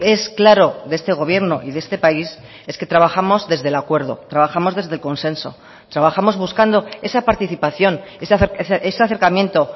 es claro de este gobierno y de este país es que trabajamos desde el acuerdo trabajamos desde el consenso trabajamos buscando esa participación ese acercamiento